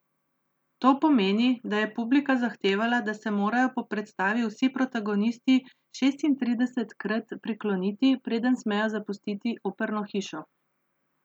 To pomeni, da je publika zahtevala, da se morajo po predstavi vsi protagonisti šestintridesetkrat prikloniti, preden smejo zapustiti operno hišo.